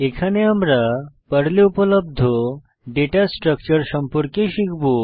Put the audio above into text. এখানে আমরা পর্লে উপলব্ধ ডেটা স্ট্রাকচারস সম্পর্কে শিখব